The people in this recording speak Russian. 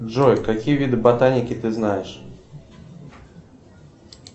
джой какие виды ботаники ты знаешь